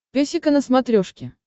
песика на смотрешке